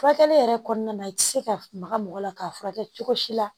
Furakɛli yɛrɛ kɔnɔna na i tɛ se ka maga mɔgɔ la k'a furakɛ cogo si la